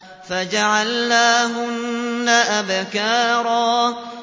فَجَعَلْنَاهُنَّ أَبْكَارًا